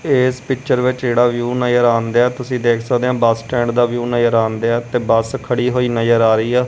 ਇਸ ਪਿਕਚਰ ਵਿੱਚ ਜਿਹੜਾ ਵਿਊ ਨਜ਼ਰ ਆਨ ਦੀਆ ਤੁਸੀਂ ਦੇਖ ਸਕਦੇ ਹ ਬੱਸ ਸਟੈਂਡ ਦਾ ਵੀ ਵਿਊ ਆਨ ਦੀਆ ਤੇ ਬੱਸ ਖੜੀ ਹੋਈ ਨਜ਼ਰ ਆ ਰਹੀ ਆ।